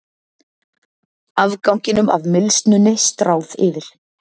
Afganginum af mylsnunni stráð yfir.